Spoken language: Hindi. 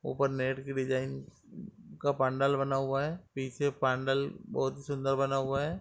ऊपर नेट की डिजाइन का पंडाल बना हुआ है पीछे पैनल बहुत सुंदर बना हुआ है।